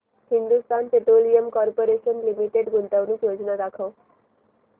Hindustan Petroleum Corporation Limited गुंतवणूक योजना दाखव